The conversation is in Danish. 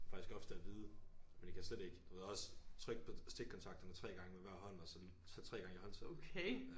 Faktisk ofte at vide men jeg kan slet ikke du ved også trykke på stikkontakterne 3 gange med hver hånd og sådan tage 3 gange i håndtaget